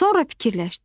Sonra fikirləşdi.